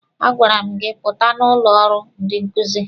A gwara m gị pụta n'ụlọ ọrụ ndị nkuzi!